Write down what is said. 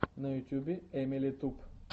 на ютюбе эмили туб